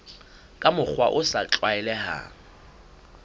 ka mokgwa o sa tlwaelehang